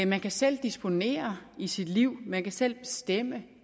man kan selv disponere i sit liv man kan selv bestemme